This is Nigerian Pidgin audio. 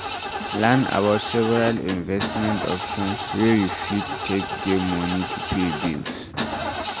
Learn about several investment options wey you fit take get money to pay bills